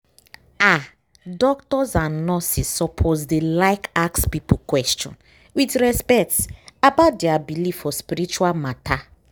ah! doctors and nurses suppose dey like ask people question with respect about dia believe for spiritual matter